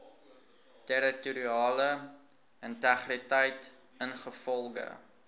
territoriale integriteit ingevolge